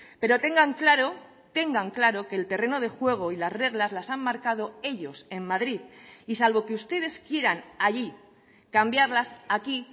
pero tengan claro tengan claro que el terreno de juego y las reglas las han marcado ellos en madrid y salvo que ustedes quieran allí cambiarlas aquí